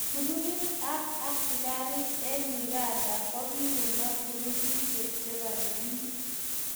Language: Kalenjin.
Grupit ak askarik eng Uganda kokiuma grupishek che bare bik.